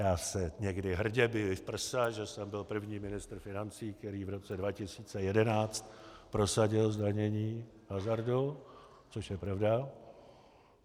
Já se někdy hrdě biji v prsa, že jsem byl první ministr financí, který v roce 2011 prosadil zdanění hazardu, což je pravda.